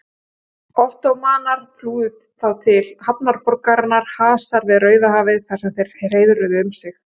Ottómanar flúðu þá til hafnarborgarinnar Hasa við Rauðahafið þar sem þeir hreiðruðu um sig.